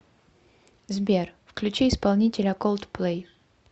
сбер включи исполнителя колдплэй